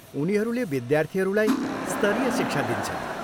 उनीहरूले विद्यार्थीहरूलाई स्तरीय शिक्षा दिन्छन्।